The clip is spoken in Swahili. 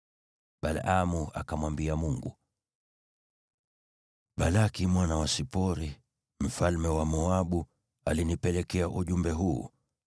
Balaamu akamwambia Mungu, “Balaki mwana wa Sipori, mfalme wa Moabu, alinipelekea ujumbe huu: